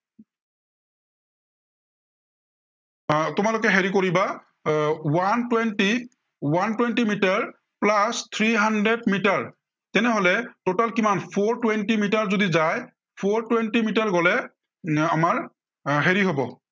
আহ তোমালোকে হেৰি কৰিবা আহ one twenty, one twenty metre plus three hundred metre. তেনেহলে total কিমান four twenty মিটাৰ যদি যায়, four twenty মিটাৰ গলে এৰ আমাৰ এৰ হেৰি হব